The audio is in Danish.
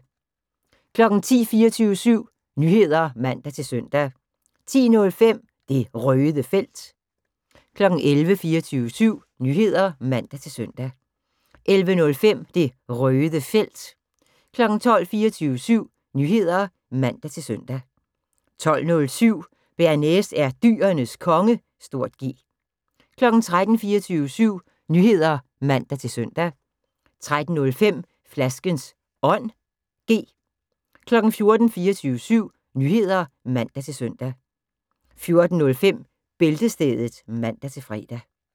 10:00: 24syv Nyheder (man-søn) 10:05: Det Røde Felt 11:00: 24syv Nyheder (man-søn) 11:05: Det Røde Felt 12:00: 24syv Nyheder (man-søn) 12:07: Bearnaise er Dyrenes Konge (G) 13:00: 24syv Nyheder (man-søn) 13:05: Flaskens Ånd (G) 14:00: 24syv Nyheder (man-søn) 14:05: Bæltestedet (man-fre)